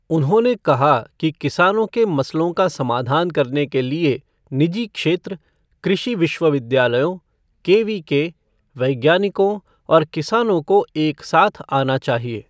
उन्होंने कहा कि किसानों के मसलों का समाधान करने के लिए निजी क्षेत्र, कृषि विश्वविद्यालयों, केवीके, वैज्ञानिकों और किसानों को एक साथ आना चाहिए।